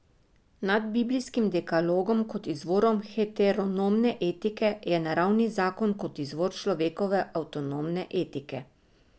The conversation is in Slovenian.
Nad biblijskim dekalogom kot izvorom heteronomne etike je naravni zakon kot izvor človekove avtonomne etike.